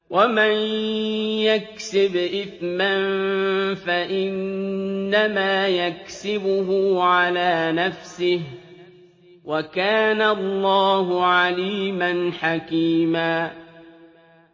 وَمَن يَكْسِبْ إِثْمًا فَإِنَّمَا يَكْسِبُهُ عَلَىٰ نَفْسِهِ ۚ وَكَانَ اللَّهُ عَلِيمًا حَكِيمًا